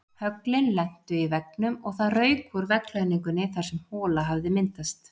Höglin lentu í veggnum og það rauk úr veggklæðningunni þar sem hola hafði myndast.